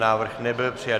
Návrh nebyl přijat.